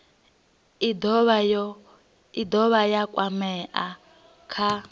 i dovha ya kwamea kha